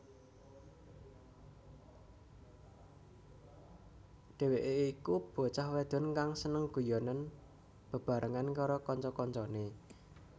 Dheweké iku bocah wadon kang seneng guyonan bebarengan karo kanca kancané